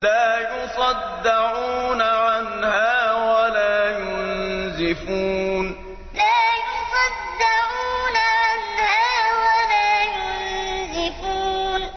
لَّا يُصَدَّعُونَ عَنْهَا وَلَا يُنزِفُونَ لَّا يُصَدَّعُونَ عَنْهَا وَلَا يُنزِفُونَ